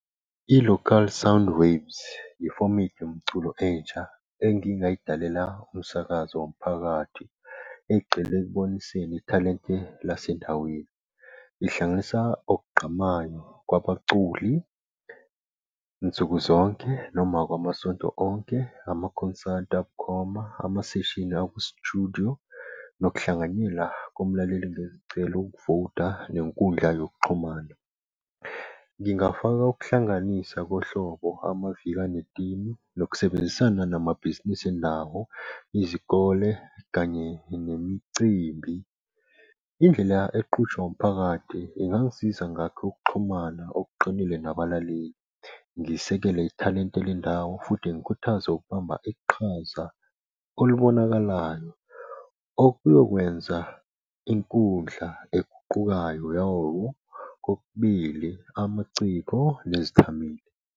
I-Local Sound Waves, yifomethi yomculo entsha engingayidlalela umsakazo womphakathi egxile ekuboniseni ithalente lasendaweni. Ihlanganisa okugqamayo kwabaculi nsuku zonke noma kwamasonto onke, amakhonsathi abukhoma, amaseshini akusitudiyo, nokuhlanganyela komlaleli becela ukuvota nenkundla yokuxhumana. Ngingafaka ukuhlanganisa ngohlobo amaviki enetini nokusebenzisana namabhizinisi endawo, izikole kanye nemicimbi. Indlela eqhutshwa umphakathi ingangisiza ngakhe ukuxhumana okuqinile nabalaleli. Ngisekele ithalente lendawo futhi ngikhuthaze okubamba iqhaza olubonakalayo okuyokwenza inkundla eguqukayo yawo kokubili amaciko nezithameli.